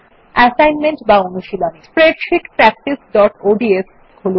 assignment বা অনুশীলনী spreadsheet practiceঅডস খুলুন